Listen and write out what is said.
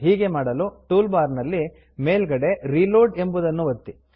ಹೀಗೆ ಮಾಡಲು toolbar ನಲ್ಲಿ ಮೇಲ್ಗಡೆ ರಿಲೋಡ್ ರೀಲೋಡ್ ಎಂಬುದನ್ನು ಒತ್ತಿ